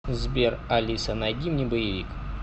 сбер алиса найди мне боевик